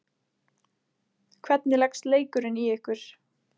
Hvernig leggst leikurinn í ykkur?